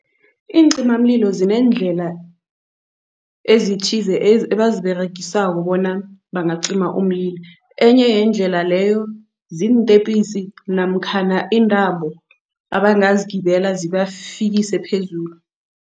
Iincimamlilo zeendlela ezithize ebaziberegisako bona bangacima umlilo. Enye yeendlela leyo ziintepisi namkhana iintambo abangazigibela zibafikise phezulu.